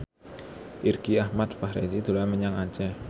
Irgi Ahmad Fahrezi dolan menyang Aceh